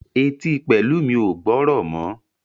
Etí Pelumi o gbórò mọ.